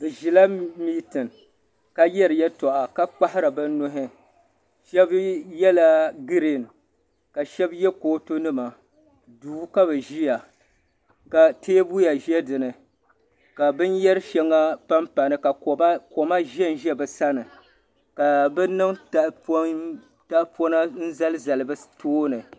Bi zila mintin ka yari yatɔɣa ka kpahiri bi nuhi. shab yela. green ka shab ye kootu nima, duu ka bi ziya ka teebuya zɛ dini ka bin yari shaŋa pampani ka kpema zɛn zɛ bi sani. kabi niŋ tahi pɔna, nzalizal bitooni